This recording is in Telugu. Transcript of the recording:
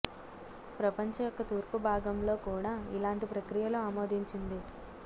ప్రపంచ యొక్క తూర్పు భాగం లో కూడా ఇలాంటి ప్రక్రియలు ఆమోదించింది